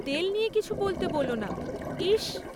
তেল নিয়ে কিছু বলতে বোলো না, ইসস!